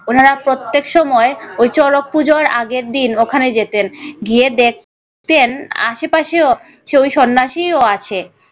ওনারা প্রত্যেক সময় ঐ চড়ক পূজোর আগের দিন ওখানে যেতেন গিয়ে দেখ তেন আশেপাশেও ওই সন্ন্যাসীও আছে